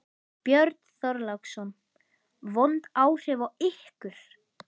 Björn Þorláksson: Vond áhrif á ykkur?